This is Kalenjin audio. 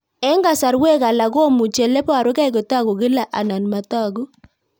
Eng'kasarwek alak komuchi ole parukei kotag'u kila anan matag'u